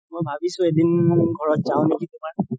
ভাবিছো এদিন ঘৰত যাও নেকি তুমাৰ